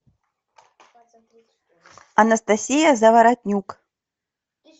анастасия заворотнюк